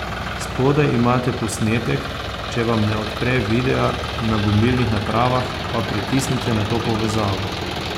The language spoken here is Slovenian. Spodaj imate posnetek, če vam ne odpre videa na mobilnih napravah, pa pritisnite na to povezavo.